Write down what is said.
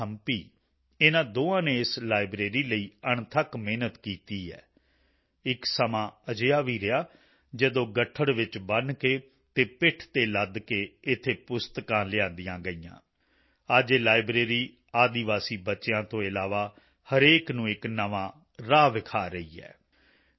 ਚਿੰਨਾਥੰਪੀ ਇਨ੍ਹਾਂ ਦੋਹਾਂ ਨੇ ਇਸ ਲਾਇਬ੍ਰੇਰੀ ਲਈ ਅਣਥੱਕ ਮਿਹਨਤ ਕੀਤੀ ਹੈ ਇੱਕ ਸਮਾਂ ਅਜਿਹਾ ਵੀ ਰਿਹਾ ਜਦੋਂ ਗੱਠੜ ਵਿੱਚ ਬੰਨ੍ਹ ਕੇ ਅਤੇ ਪਿੱਠ ਤੇ ਲੱਦ ਕੇ ਇੱਥੇ ਪੁਸਤਕਾਂ ਲਿਆਂਦੀਆਂ ਗਈਆਂ ਅੱਜ ਇਹ ਲਾਇਬ੍ਰੇਰੀ ਆਦਿਵਾਸੀ ਬੱਚਿਆਂ ਤੋਂ ਇਲਾਵਾ ਹਰੇਕ ਨੂੰ ਇੱਕ ਨਵਾਂ ਰਾਹ ਵਿਖਾ ਰਹੀ ਹੈ